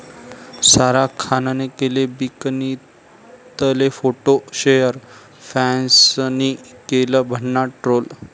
सारा खानने केले बिकनीतले फोटो शेअर, फॅन्सनी केलं भन्नाट ट्रोल